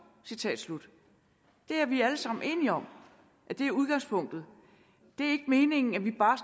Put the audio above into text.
det er vi alle sammen enige om er udgangspunktet det er ikke meningen at vi bare